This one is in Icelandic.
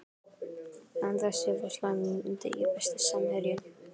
Sandra Sif á slæmum degi Besti samherjinn?